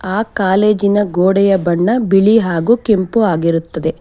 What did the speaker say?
ಅ ಕಾಲೇಜಿನ ಗೋಡೆಯ ಬಣ್ಣ ಬಿಳಿ ಹಾಗು ಕೆಂಪು ಆಗಿರುತ್ತದೆ.